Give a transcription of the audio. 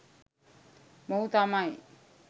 මොහු තමයි